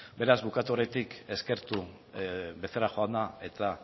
beraz bukatu aurretik eskertu becerra jauna eta